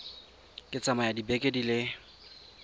ka tsaya dibeke di le